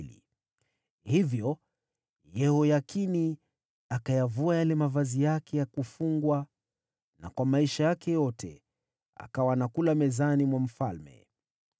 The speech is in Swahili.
Hivyo Yehoyakini akayavua mavazi yake ya mfungwa, na siku zote za maisha yake zilizobaki alikula mezani mwa mfalme.